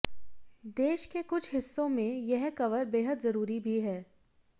देश के कुछ हिस्सों में यह कवर बेहद जरूरी भी है